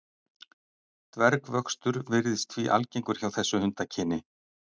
dvergvöxtur virðist því algengur hjá þessu hundakyni